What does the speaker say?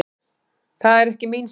Það er ekki mín sök.